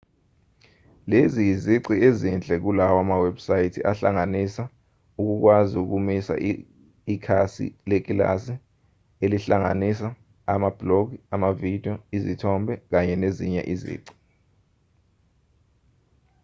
lezi izici ezinhle kulawa mawebhusayithi ahlanganisa ukukwazi ukumisa ikhasi lekilasi elingahlanganisa amabhulogi amavidiyo izithombe kanye nezinye izici